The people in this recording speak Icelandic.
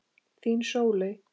Þín, Sóley.